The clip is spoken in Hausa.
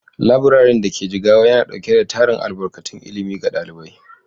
Laburaren da ke Jigawa yana dauke da tarin albarkatun ilimi ga ɗalibai.